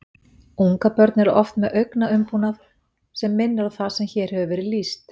Ungabörn eru oft með augnaumbúnað sem minnir á það sem hér hefur verið lýst.